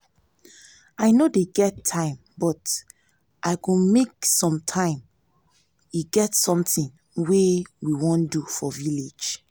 i no dey get time but um i go make some time e get something wey we wan do for village